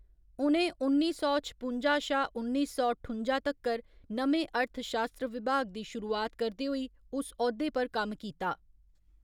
उ'नें उन्नी सौ छपुंजा शा उन्नी सौ ठुंजा तक्कर नमें अर्थशास्त्र विभाग दी शुरुआत करदे होई उस औह्‌दे पर कम्म कीता।